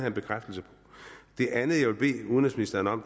en bekræftelse på det andet jeg vil bede udenrigsministeren om